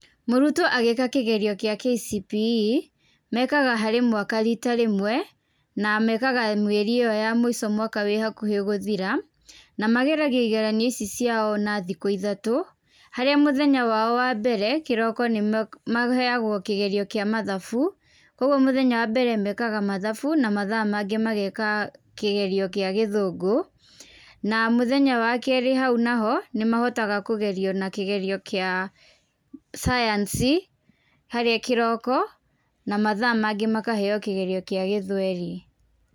Mũrutwo agĩĩka kĩgerio kĩa KCPE, mekaga harĩ mwaka rita rĩmwe, na mekaga mĩeri ĩyo ya mũico mwaka wĩ hakuhĩ gũthira, na mageragio igeranio ici ciao na thikũ ithatũ. Harĩa mũthenya wao wa mbere, kĩroko maheagwo kĩgerio kĩa mathabu. Koguo mũthenya wambere mekaga mathabu na mathaa mangĩ mageka kĩgerio kĩa gĩthũngũ, na mũthenya wa keerĩ hau naho, nĩmahotaga kũgerio na kĩgerio kia cayanci, harĩa kĩroko na mathaa mangĩ makaheo kĩgerio kĩa gĩthweri.